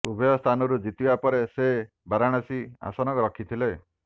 ଉଭୟ ସ୍ଥାନରୁ ଜିତିବା ପରେ ସେ ବାରାଣସୀ ଆସନ ରଖିଥିଲେ